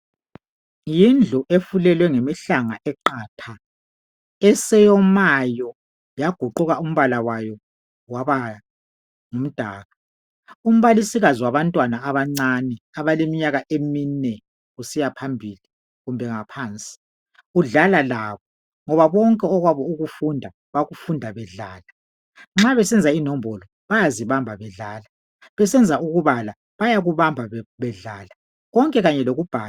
Yindlu efulelwe ngemihlanga eqatha eseyomayo. Yaguquka umbala wayo waba ngumdaka. Umbalisikazi wabantwana abancane abaleminyaka emine kusiya phambili, kumbe ngaphansi udlala labo. Ngoba konke okwabo ukufunda, bakufunda bedlala. Nxa besenza inombolo bayazibamba bedlala besenza ukubala bayakubamba bedlala konke kanye lokubhala.